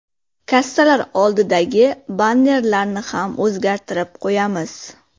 Kassalar oldidagi bannerlarni ham o‘zgartirib qo‘yamiz.